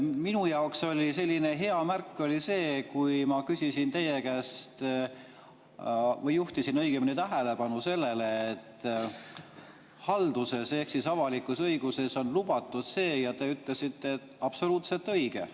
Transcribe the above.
Minu jaoks oli hea märk see, kui ma juhtisin teie tähelepanu sellele, et halduses ehk avalikus õiguses on see lubatud, ja te ütlesite, et absoluutselt õige.